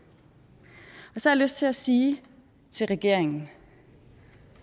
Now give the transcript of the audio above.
så lyst til at sige til regeringen